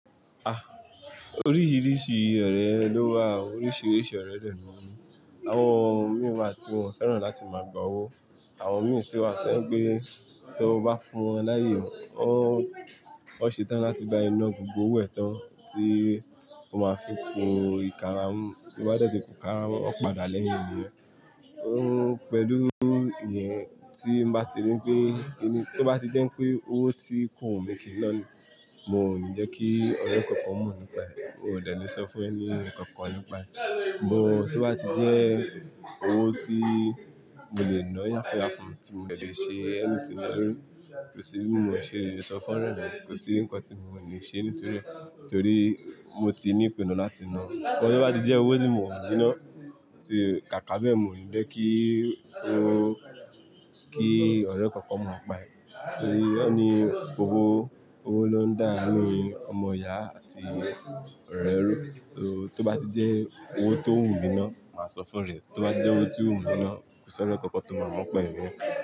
Ah! Oríṣiríṣi ọ̀rẹ́ lówà, oríṣiríṣi ọ̀rẹ́ dè ní. Àwọn mìíràn wa tí wọ́n fẹ́ràn láti máa gba owó, àwọn mìíràn sì wà tí ẹ́ ń gbé, tí o bá fún wọn láàyè, wọ́n, wọ́n ṣetán láti ba ee ná gbogbo òwò ẹ̀ tán tí o máa fi ku ìka mọ, bí wọ́n dẹ́tì kù ká, wọ́n padà lẹ́yìn rẹ. Óun pẹ̀lú ìyẹn tí mo bá ti rí pé ẹni tí ó bá ti jẹ́ pé owó tí kò wù mí kí n ná a, mo ní jẹ́ kí ọrẹ kankan mo nipa ee, mo ò dẹ́ le sọ fún ẹni kankan lú pa. Mo tí ó bá ti jẹ́ owó tí mo lè ná ya fún ya fún, tí mo dẹ́ le ṣe anything le lori, kò sí bí mo ṣe lè sọ fún ọ̀rẹ́ rẹ̀, kò sí ǹkan tí mo ní lè ṣe nítorí, torí mo ti ní ìpinnu láti ná a. Ṣùgbọ́n tí ó bá ti jẹ́ owó tí mo wù mí ná, tí kàkà bẹ́ẹ̀, mo ní jẹ́ kí owó, kí ọ̀rẹ́ kankan mo nipa ee, torí won ni gbogbo owó ló ń dá a nínú ọmọ ìyá àti ọ̀rẹ́. Tí ó bá ti jẹ́ owó tó wù mí ná, màá sọ fún orẹ̀, tí ó bá ti jẹ́ owó tí ò wù mí ná, kò sí ọ̀rẹ́ kankan tó máa mo nipa rẹ̀ mọ́.